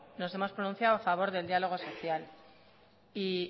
nos hemos pronunciado a favor del diálogo social y